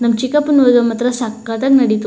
ನಮ್ಮ್ ಚಿಕ್ಕಪ್ಪನ ಮದುವೆ ಮಾತ್ರ ಸಖತ್ತಾಗೆ ನಡೀತು.